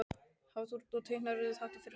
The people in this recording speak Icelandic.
Hafþór: Og teiknaðirðu þetta fyrir hann?